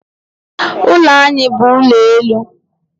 Ụlọ anyị bu ụlọelu.